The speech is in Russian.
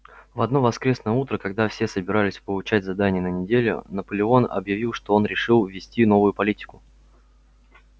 в одно воскресное утро когда все собирались получать задания на неделю наполеон объявил что он решил ввести новую политику